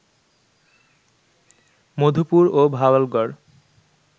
মধুপুর ও ভাওয়াল গড়